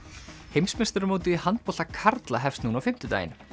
heimsmeistaramótið í handbolta karla hefst núna á fimmtudaginn